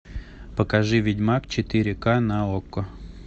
покажи ведьмак четыре ка на окко